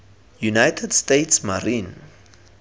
united states marine